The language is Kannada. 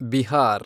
ಬಿಹಾರ್